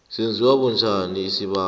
senziwa bunjani isibawo